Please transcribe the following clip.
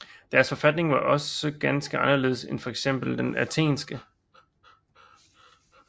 Deres forfatning var også ganske anderledes end fx den athenske